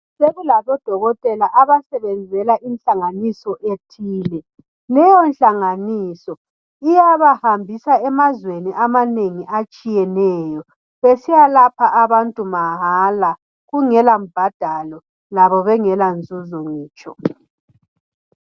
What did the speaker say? Sokulabodokotela abasebenzela inhlanganiso ethile. Leyo nhlanganiso iyabahambisa emazweni amanengi atshiyeneyo besiyabalapha abantu mahala kungela mbadalo labo bengela nzuzo ngitsho.